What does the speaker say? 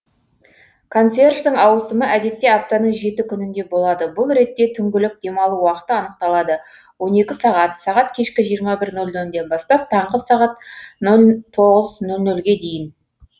консьерждің ауысымы әдетте аптаның жеті күнінде болады бұл ретте түңгілік демалу уақыты анықталады он екі сағат сағат кешкі жиырма бір нөл нөлден бастап таңғы нөл тоғыз нөл нөлге дейін